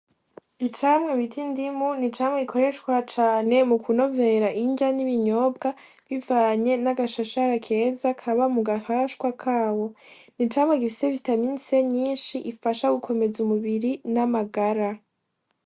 Icamwa bita indimu n'icamwa gikoreshwa cane mu kunovera indya n'ibinyobwa bivanye n'agashashara keza kaba mu gahashwa kabo n'icamwa gifise vitamine c nyinshi ifasha gukomeza umubiri n'amagara.